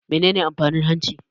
Menene amfanin hanci?